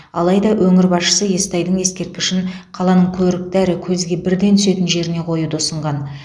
алайда өңір басшысы естайдың ескерткішін қаланың көрікті әрі көзге бірден түсетін жеріне қоюды ұсынған